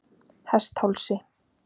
Hesthálsi